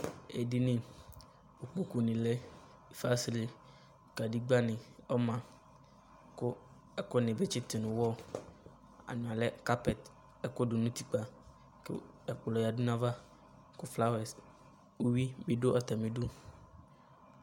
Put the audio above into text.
Edini ikpokunɩ lɛ fasre kadigbǝnɩ ɔma kʋ ɛkʋnɩ bɩ tsɩtʋ nʋ ʋwɔ ɔlɛ kapɛte ɛkʋ ladʋ nʋ utikpǝ kʋ ɛkplɔ yǝdu nʋ ayava kʋ flawɛs uyui bɩ dʋ atamɩ idu